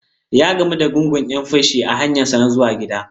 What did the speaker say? Ya gamu da gungun 'yan-fashi a hanyarsa ta zuwa gida.